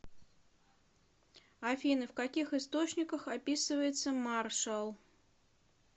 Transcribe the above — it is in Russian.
афина в каких источниках описывается маршал